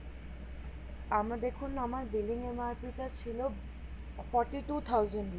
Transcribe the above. আমার দেখুন আমার billing MRP টা ছিলো Forty-two thousand